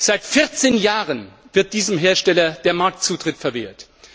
Seit 14 Jahren wird diesem Hersteller der Marktzutritt verwehrt.